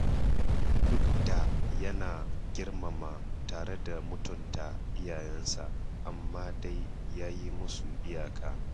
Duk da yana girmama tare da mutunta iyayensa, amma dai ya yi musu iyaka.